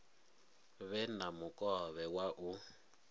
vhe na mukovhe wa u